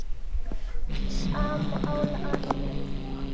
Sammála því?